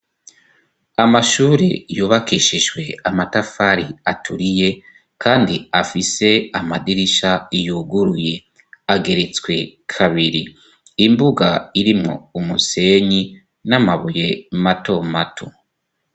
Amashure yubakishishwe amatafari aturiye, kandi afise amadirisha yuguruye ageretswe kabiri imbuga irimwo umusenyi n'amabuye mato mato.